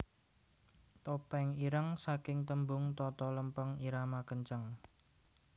Topeng Ireng saking tembung Toto Lempeng Irama Kenceng